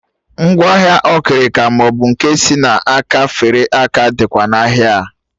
Ngwaahịa okirika maọbụ nke si n'aka fere aka dịkwa n'ahịa a